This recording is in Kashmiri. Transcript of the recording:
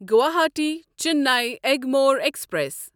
گواہاٹی چِننے ایگمور ایکسپریس